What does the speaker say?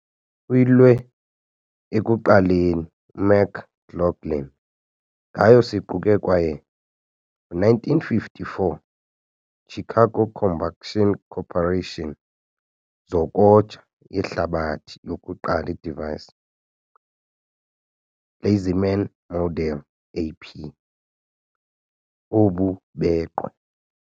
Uyilwe ekuqaleni McGlaughlin ngayo siquke kwaye 1954 "Chicago Combustion Corporation" zokoja yehlabathi yokuqala device, "LazyMan Model AP" obubhenqwe.